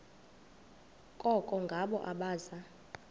koko ngabo abaza